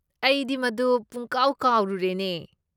ꯑꯩꯗꯤ ꯃꯗꯨ ꯄꯨꯡꯀꯥꯎ ꯀꯥꯎꯔꯨꯔꯦꯅꯦ꯫